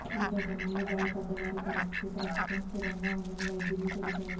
ఈ ఘటనలో గాయపడ్డవారి పరిస్థితి ప్రస్తుతం స్థిరంగా ఉందని వైద్యులు తెలిపారు